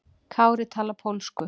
Kári talar pólsku.